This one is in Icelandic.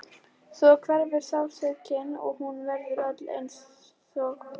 Og svo hverfur sársaukinn og hún verður öll einsog dofin.